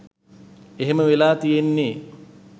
එහෙම වෙලා තියෙන්නෙ